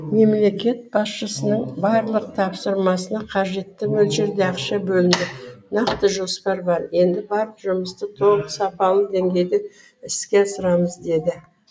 мемлекет басшысының барлық тапсырмасына қажетті мөлшерде ақша бөлінді нақты жоспар бар енді барлық жұмысты толық сапалы деңгейде іске асырамыз деді